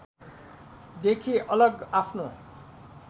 देखि अलग आफ्नो